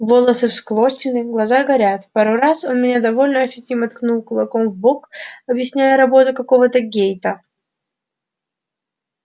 волосы всклокочены глаза горят пару раз он меня довольно ощутимо ткнул кулаком в бок объясняя работу какого-то гейта